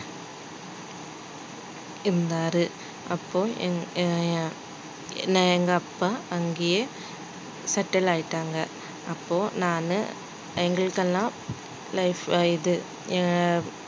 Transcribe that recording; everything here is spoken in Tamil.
இருந்தாரு அப்போ என் எங்க அப்பா அங்கேயே settle ஆயிட்டாங்க அப்போ நானு எங்களுக்கெல்லாம் life இது ஆஹ்